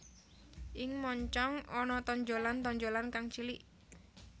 Ing moncong ana tonjolan tonjolan kang cilik